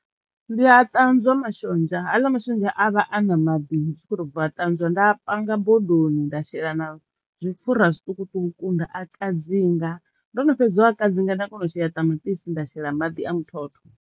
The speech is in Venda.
Ndi nga ṱanzwa mashonzha haaḽa mashonzha a vha a na maḓi ndi tshi khoto bva ṱanzwa nda panga bodoni, nda shela na zwipfhura zwiṱukuṱuku, nda a kadzinga ndo no fhedza u a kadzinga nda kono u shela ṱamaṱisi nda shela maḓi a muthotho.